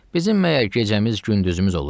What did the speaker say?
Bizim məyər gecəmiz, gündüzümüz olur?